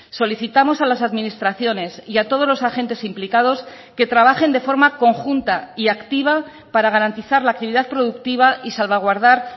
solicitamos a las administraciones y a todos los agentes implicados que trabajen de forma conjunta y activa para garantizar la actividad productiva y salvaguardar